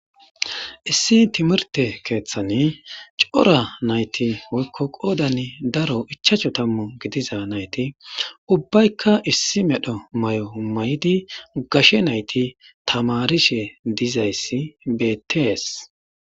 Issi timirtte keththan coora nayti woykko qoddan daaro ichashshu tammu giddiza nayti ubbaykka issi medhdho maayo mayidi gashshe nayti tammarishe diizayssi bettes.